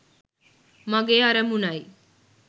මගේ අරමුණයි.